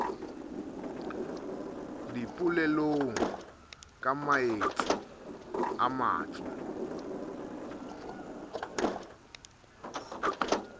dipolelong ka maetsi a matso